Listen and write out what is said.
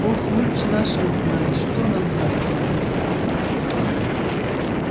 бог лучше нашего знает что нам надобно